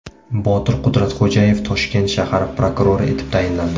Botir Qudratxo‘jayev Toshkent shahar prokurori etib tayinlandi.